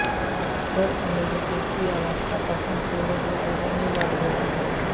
उत्तर अमेरिकेतही अलास्का पासून पुढे हे अरण्य वाढलेले आहे